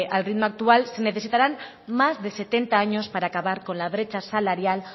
al ritmo actual se necesitarán más de setenta años para acabar con la brecha salarial